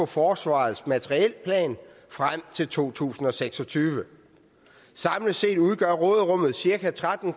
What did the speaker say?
forsvarets materielplan frem til to tusind og seks og tyve samlet set udgør råderummet cirka tretten